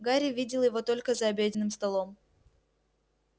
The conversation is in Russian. гарри видел его только за обеденным столом